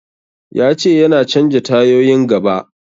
Ya ce yana canja tayoyin gaba.